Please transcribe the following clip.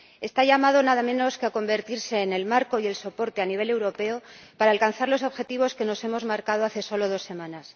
está llamado nada menos que a convertirse en el marco y el soporte a nivel europeo para alcanzar los objetivos que nos hemos marcado hace solo dos semanas.